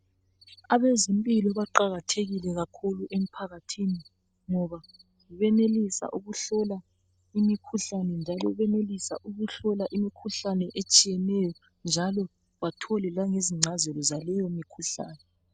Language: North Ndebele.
abezempilo baqakathekile kakhulu emphakathini ngoba benelisa ukuhlola imikhuhlane etshiyeneyo njalo bathole lezincazelo zaleyo mikhuhlane